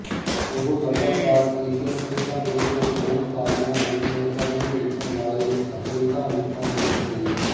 ਉਹ ਲਗਾਤਾਰ ਏਸ਼ੀਅਨ ਖੇਡਾਂ ਵਿੱਚ ਦੋ ਮੁਕਾਬਲਿਆਂ ਵਿੱਚ ਤਗਮੇ ਜਿੱਤਣ ਵਾਲੇ ਅਥਲੀਟਾਂ ਵਿੱਚੋਂ ਇੱਕ ਸੀ